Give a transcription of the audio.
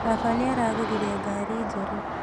Baba nĩaragũrire ngari njerũ